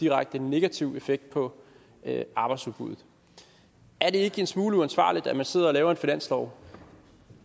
direkte negativ effekt på arbejdsudbuddet er det ikke en smule uansvarligt at man sidder og laver en finanslov